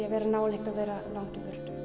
að vera nálægt og vera langt í